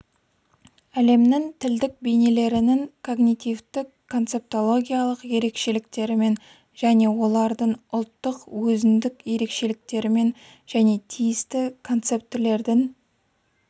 әлемнің тілдік бейнелерінің когнитивтік-концептологиялық ерекшеліктерімен және олардың ұлттық өзіндік ерекшеліктерімен және тиісті концептілердің